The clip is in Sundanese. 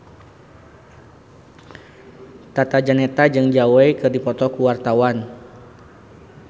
Tata Janeta jeung Zhao Wei keur dipoto ku wartawan